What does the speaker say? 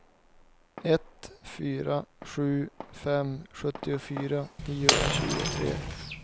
ett fyra sju fem sjuttiofyra niohundratjugotre